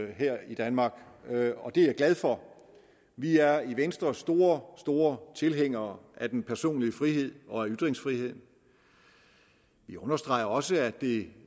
her i danmark og det er jeg glad for vi er i venstre store store tilhængere af den personlige frihed og af ytringsfriheden vi understreger jo også at det